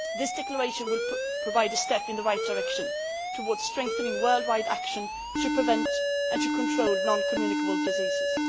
This declaration will provide a step in the right direction towards strengthening worldwide action to prevent and control non communicable diseases.